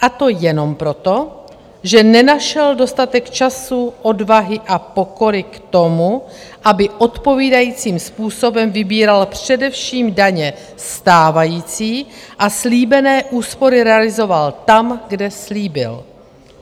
A to jenom proto, že nenašel dostatek času, odvahy a pokory k tomu, aby odpovídajícím způsobem vybíral především daně stávající a slíbené úspory realizoval tam, kde slíbil.